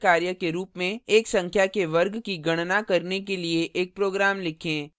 एक नियतकार्य के रूप में एक संख्या के वर्ग की गणना करने के लिए एक program लिखें